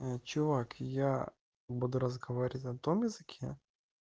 чувак я буду разговаривать на том языке